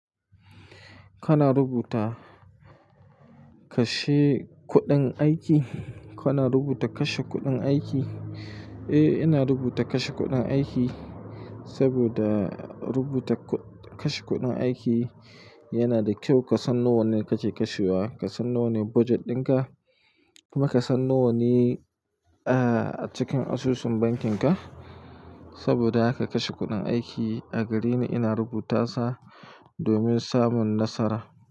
Kana rubuta kashe kuɗin aiki? Kana rubuta kashe kuɗin aiki? Eh, ina rubuta kashe kuɗin aiki saboda rubuta kuɗ-- kashe kuɗin aiki yana da kyau ka san nawa ne kake kashewa, ka san nawa ne budget ɗinka kuma ka san nawa ne, ah, a cikin asusun bankinka saboda haka kashe kuɗin aiki. A gareni ina rubuta sa domin samun nasara.